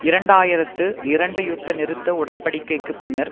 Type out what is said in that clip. இரண்டு ஆயிரத்து இரண்டு யுத்த நிறுத்த உடன்படிக்கைக்குப் பின்னர்